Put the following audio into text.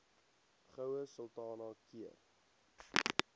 goue sultana keur